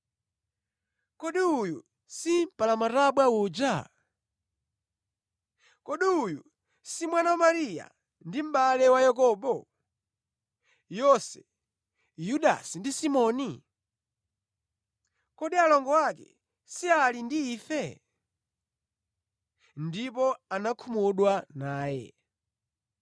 Kodi uyu si mpalamatabwa uja? Kodi uyu si mwana wa Mariya ndi mʼbale wa Yakobo, Yose, Yudasi ndi Simoni? Kodi alongo ake si ali ndi ife?” Ndipo anakhumudwa naye.